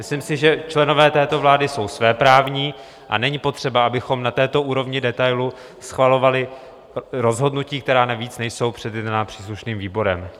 Myslím si, že členové této vlády jsou svéprávní, a není potřeba, abychom na této úrovni detailu schvalovali rozhodnutí, která navíc nejsou předjednána příslušným výborem.